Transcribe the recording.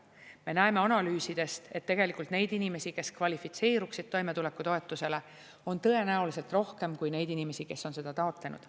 Me näeme analüüsidest, et tegelikult neid inimesi, kes kvalifitseeruksid toimetulekutoetusele, on tõenäoliselt rohkem kui neid inimesi, kes on seda taotlenud.